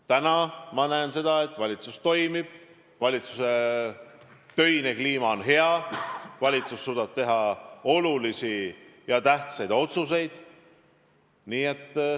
Täna ma näen seda, et valitsus toimib, valitsuse töine kliima on hea, valitsus suudab teha olulisi ja tähtsaid otsuseid.